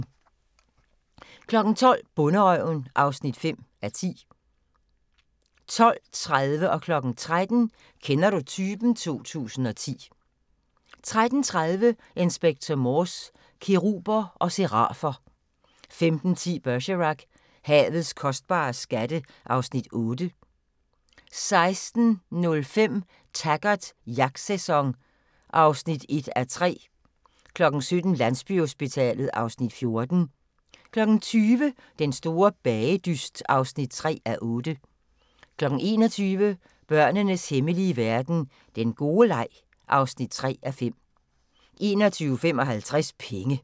12:00: Bonderøven (5:10) 12:30: Kender du typen? 2010 13:00: Kender du typen? 2010 13:30: Inspector Morse: Keruber og serafer 15:10: Bergerac: Havets kostbare skatte (Afs. 8) 16:05: Taggart: Jagtsæson (1:3) 17:00: Landsbyhospitalet (Afs. 14) 20:00: Den store bagedyst (3:8) 21:00: Børnenes hemmelige verden - den gode leg (3:5) 21:55: Penge